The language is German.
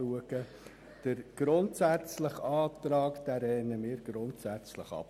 Den Antrag betreffend den Begriff «grundsätzlich» lehnen wir grundsätzlich ab.